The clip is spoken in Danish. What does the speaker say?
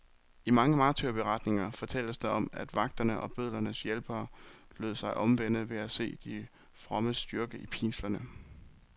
I mange martyrberetninger fortælles der om, at vagterne og bødlernes hjælpere lod sig omvende ved at se de frommes styrke i pinslerne.